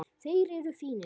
Þeir eru fínir.